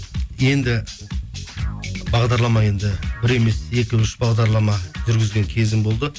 енді бағдарлама енді бір емес екі үш бағдарлама жүргізген кезім болды